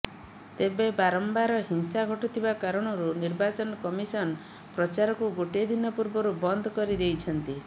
ତେବେ ବାରମ୍ବାର ହିଂସା ଘଟୁଥିବା କାରଣରୁ ନିର୍ବାଚନ କମିଶନ ପ୍ରଚାରକୁ ଗୋଟିଏ ଦିନ ପୂର୍ବରୁ ବନ୍ଦ କରି ଦେଇଛନ୍ତି